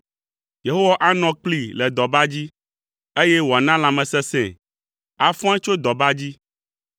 Yehowa anɔ kplii le dɔba dzi, eye wòana lãmesesẽe, afɔe tso dɔba dzi.